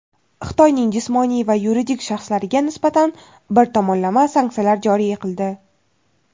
Xitoyning jismoniy va yuridik shaxslariga nisbatan bir tomonlama sanksiyalar joriy qildi.